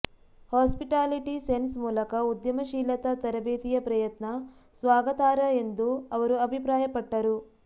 hospitality science ಮೂಲಕ ಉದ್ಯಮಶೀಲತಾ ತರಬೇತಿಯ ಪ್ರಯತ್ನ ಸ್ವಾಗತಾರ್ಹ ಎಂದು ಅವರು ಅಭಿಪ್ರಾಯಪಟ್ಟರು